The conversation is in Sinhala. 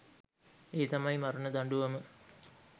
ඒ තමයි මරණ දඬුවම.